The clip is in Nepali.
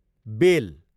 बेल